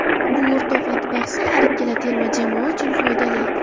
Bu o‘rtoqlik bahsi har ikkala terma jamoa uchun foydali.